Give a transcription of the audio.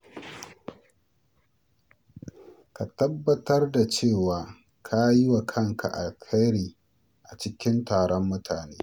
Ka tabbatar da cewa ka yi wa kanka alheri a cikin taron mutane.